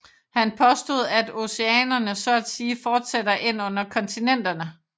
Han påstod at oceanerne så at sige fortsætter ind under kontinenterne